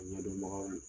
Ɲɛdɔnbagaw